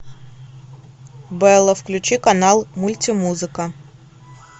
бэлла включи канал мультимузыка